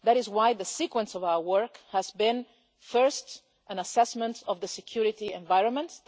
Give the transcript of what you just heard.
That is why the sequence of our work began with an assessment of the security environment.